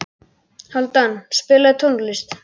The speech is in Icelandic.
Hálfdan, spilaðu tónlist.